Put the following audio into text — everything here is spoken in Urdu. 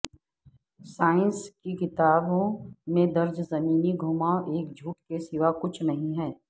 سانئس کی کتابوں میں درج زمینی گھماو ایک جھوٹ کے سوا کچھ نہی ہے